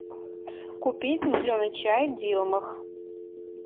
купить зеленый чай дилмах